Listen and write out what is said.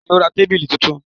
Bẹ́ẹ̀ ni, ó ra tábìlì tuntun.